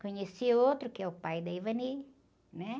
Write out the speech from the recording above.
Conheci outro, que é o pai da, né?